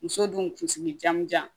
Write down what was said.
Muso dun kun sigijanjan